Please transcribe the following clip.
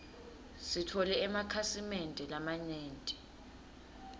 sitfole emakhasi mende lamanyenti